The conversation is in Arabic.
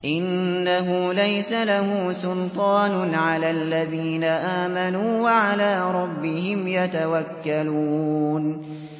إِنَّهُ لَيْسَ لَهُ سُلْطَانٌ عَلَى الَّذِينَ آمَنُوا وَعَلَىٰ رَبِّهِمْ يَتَوَكَّلُونَ